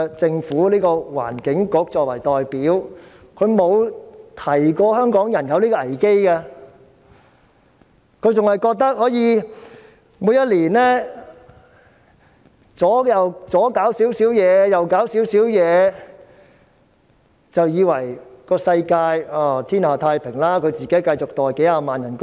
政府的環境局作為代表，沒有提醒過香港人有此危機，還以為每年在這方面做些事，那方面做些事，便可以天下太平，自己繼續每月收取數十萬元的薪酬。